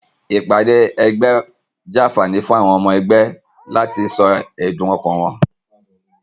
Ìpàdé egbé jé ànfàní fún àwon omo egbé láti so èdùn okàn won